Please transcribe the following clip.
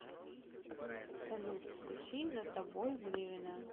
салют включи за тобой гривина